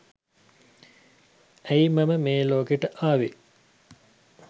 ඇයි මම මේ ලෝකෙට ආවේ?